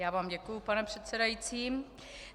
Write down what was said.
Já vám děkuji, pane předsedající.